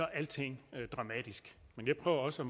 er alting dramatisk men jeg prøver også